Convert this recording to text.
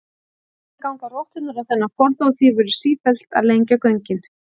Síðan ganga rotturnar á þennan forða og því verður sífellt að lengja göngin.